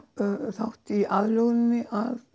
þátt í aðlöguninni